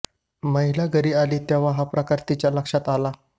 महिला घरी आली तेव्हा हा प्रकार तिच्या लक्षात आला